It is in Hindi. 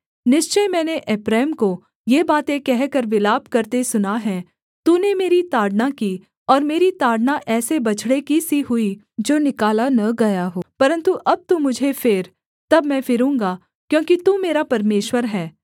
निश्चय मैंने एप्रैम को ये बातें कहकर विलाप करते सुना है तूने मेरी ताड़ना की और मेरी ताड़ना ऐसे बछड़े की सी हुई जो निकाला न गया हो परन्तु अब तू मुझे फेर तब मैं फिरूँगा क्योंकि तू मेरा परमेश्वर है